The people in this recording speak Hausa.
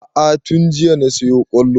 A'a tun jiya na siyo ƙwallo